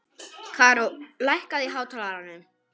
Karó, lækkaðu í hátalaranum.